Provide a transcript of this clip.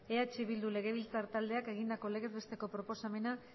eh bildu legebiltzar taldeak egindako legez besteko proposamena